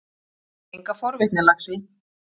Enga forvitni, laxi.